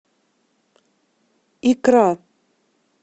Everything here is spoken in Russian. икра